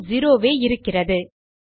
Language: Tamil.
இன்னும் செரோ வே இருக்கிறது